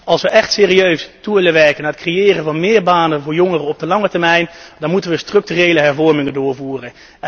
Als wij echt serieus toe willen werken naar het creëren van meer banen voor jongeren op de lange termijn, dan moeten wij structurele hervormingen doorvoeren.